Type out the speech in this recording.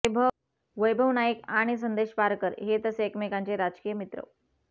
वैभव नाईक आणि संदेश पारकर हे तसे एकमेकांचे राजकीय मित्र